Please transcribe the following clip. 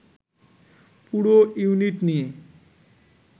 পুরো ইউনিট নিয়ে